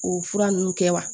O fura nunnu kɛ wa